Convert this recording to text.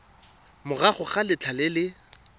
morago ga letlha le le